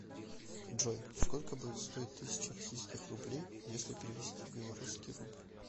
джой сколько будет стоить тысяча российских рублей если перевести в белорусский рубль